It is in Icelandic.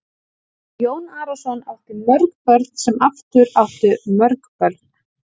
Og Jón Arason átti mörg börn sem aftur áttu mörg börn.